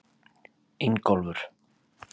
Ingólfur